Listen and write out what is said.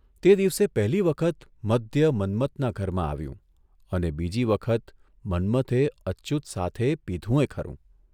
તે દિવસે પહેલી વખત મદ્ય મન્મથના ઘરમાં આવ્યું અને બીજી વખત મન્મથે અચ્યુત સાથી પીધુંયે ખરૂં !